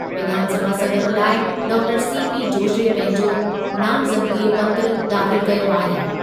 विधानसभा सदर लाइ doctor C P पंहिंजो नामज़दगी पत्रु दाख़िल कयो आहे।